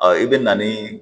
i bɛ na ni